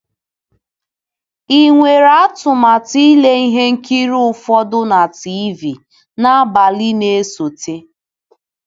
Ị nwere atụmatụ ile ihe nkiri ụfọdụ na TV n'abalị na-esote.